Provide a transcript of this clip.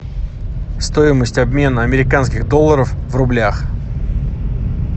стоимость обмена американских долларов в рублях